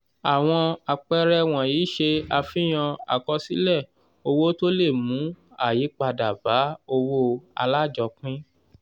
àwọn àpẹẹrẹ wọ̀nyí ṣe àfihàn àkọsílẹ̀ owó tó le mú ayípadà bá owó alájọpín.